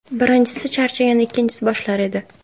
Birinchisi charchaganda ikkinchisi boshlar edi.